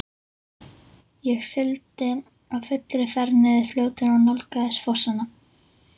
Ég sigldi á fullri ferð niður fljótið og nálgaðist fossana.